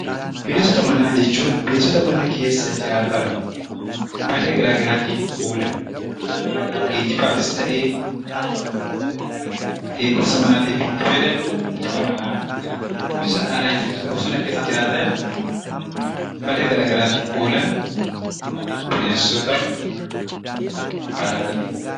Bineensota manaa jechuun bineensota mana keessa jiraatan fayidaa garaagaraatiif oolan geejibaafis ta'ee eegumsaafis itti fayyadamnu bineensota manaa jenna. Bineensota alaa jechuun bineensota bosona keessa jiraatan fayidaa garaagaraatiif oolan bineensota alaa jedhamu.